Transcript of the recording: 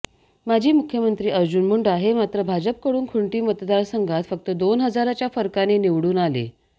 माजी मुख्यमंत्री अर्जुन मुंडा हे मात्र भाजपकडून खुंटी मतदारसंघात फक्त दोन हजाराच्या फरकाने निवडून आले